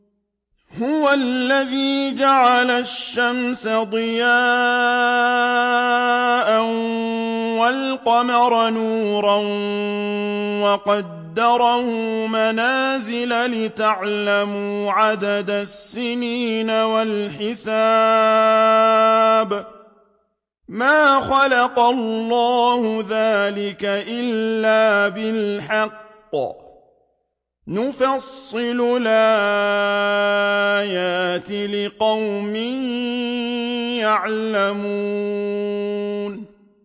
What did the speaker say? هُوَ الَّذِي جَعَلَ الشَّمْسَ ضِيَاءً وَالْقَمَرَ نُورًا وَقَدَّرَهُ مَنَازِلَ لِتَعْلَمُوا عَدَدَ السِّنِينَ وَالْحِسَابَ ۚ مَا خَلَقَ اللَّهُ ذَٰلِكَ إِلَّا بِالْحَقِّ ۚ يُفَصِّلُ الْآيَاتِ لِقَوْمٍ يَعْلَمُونَ